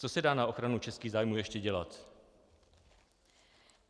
Co se dá na ochranu českých zájmů ještě dělat?